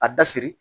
A da siri